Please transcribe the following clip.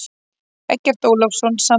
Eggert Ólafsson samdi.